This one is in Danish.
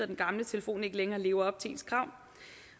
den gamle telefon ikke længere lever op til ens krav